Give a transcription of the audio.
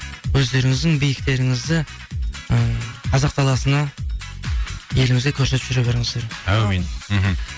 өздеріңіздің биіктеріңізді ы қазақ даласына елімізге көрсетіп жүре беріңіздер әумин мхм